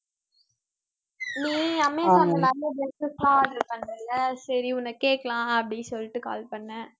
நீ அமேசான்ல நிறைய dresses லாம் order பண்றேல்ல சரி உன்னை கேக்கலாம் அப்படின்னு சொல்லிட்டு call பண்ணேன்